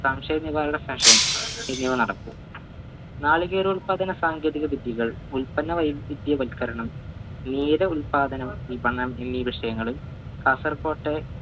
എന്നിവ നടക്കും നാളികേര ഉൽപാദന സാങ്കേതിക വിദ്യകൾ ഉത്പന്ന വൈവിധ്യവൽക്കരണം ഉൽപാദനം വിപണം എന്നീ വിഷയങ്ങളിൽ കാസർകോട്ടെ